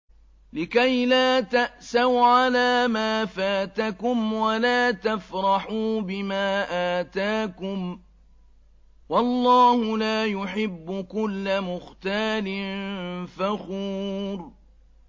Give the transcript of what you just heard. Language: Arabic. لِّكَيْلَا تَأْسَوْا عَلَىٰ مَا فَاتَكُمْ وَلَا تَفْرَحُوا بِمَا آتَاكُمْ ۗ وَاللَّهُ لَا يُحِبُّ كُلَّ مُخْتَالٍ فَخُورٍ